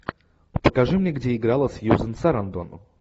покажи мне где играла сьюзен сарандон